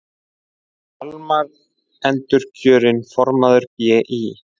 Hjálmar endurkjörinn formaður BÍ